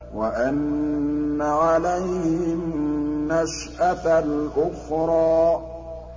وَأَنَّ عَلَيْهِ النَّشْأَةَ الْأُخْرَىٰ